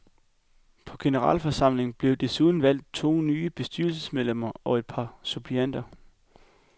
På generalforsamlingen blev desuden valgt to nye bestyrelsesmedlemmer og et par nye suppleanter.